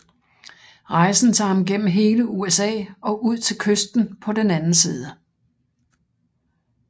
Rejsen tager ham gennem hele USA og ud til kysten på den anden side